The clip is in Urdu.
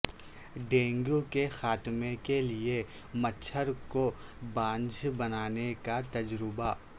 ڈینگی کے خاتمے کے لیے مچھر کو بانجھ بنانے کا تجربہ